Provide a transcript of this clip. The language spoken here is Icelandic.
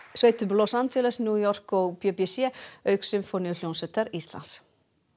fílharmóníusveitum Los Angeles New York og b b c auk Sinfóníuhljómsveitar Íslands